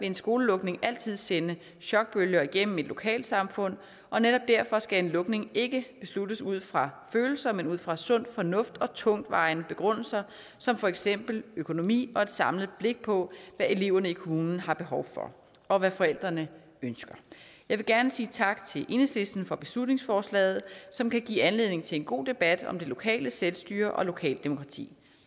en skolelukning altid sende chokbølger igennem et lokalsamfund og netop derfor skal en lukning ikke besluttes ud fra følelser men ud fra sund fornuft og tungtvejende begrundelser som for eksempel økonomi og et samlet blik på hvad eleverne i kommunen har behov for og hvad forældrene ønsker jeg vil gerne sige tak til enhedslisten for beslutningsforslaget som kan give anledning til en god debat om det lokale selvstyre og lokalt demokrati